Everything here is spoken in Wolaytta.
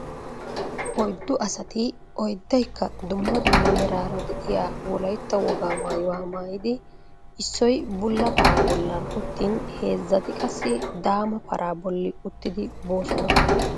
Oyddu asati oddaykka dumma dumma meraara de'iya wolaytta wogaa maayuwa maayidi issoy bulla paraa bollan uttin heezzati qassi daama paraa bolli uttidi boosona.